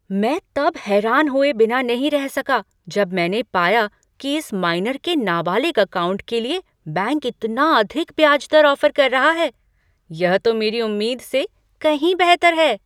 मैं तब हैरान हुए बिना नहीं रह सका जब मैंने पाया कि इस माइनर के नाबालिग के अकाउंट के लिए बैंक इतना अधिक ब्याज दर ऑफ़र कर रहा है! यह तो मेरी उम्मीद से कहीं बेहतर है।